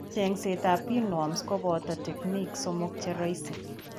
Cheng'seet ab pinworms kobooto techniques somok cheroisi